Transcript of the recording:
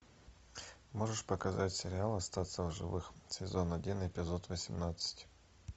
можешь показать сериал остаться в живых сезон один эпизод восемнадцать